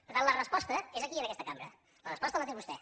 per tant la resposta és aquí en aquesta cambra la resposta la té vostè